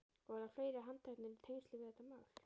Og verða fleiri handteknir í tengslum við þetta mál?